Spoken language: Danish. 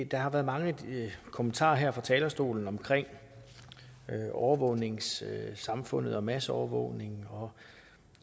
der har været mange kommentarer her fra talerstolen om overvågningssamfundet og masseovervågning